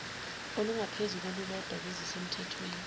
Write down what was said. olungaphezu kolulodwa kwezisemthethweni